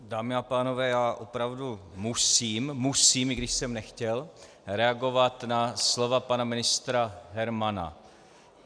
Dámy a pánové, já opravdu musím - musím, i když jsem nechtěl - reagovat na slova pana ministra Hermana.